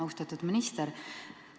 Austatud minister!